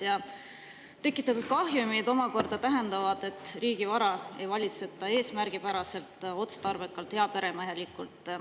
Ja tekitatud kahjumid omakorda tähendavad, et riigi vara ei valitseta eesmärgipäraselt, otstarbekalt, heaperemehelikult.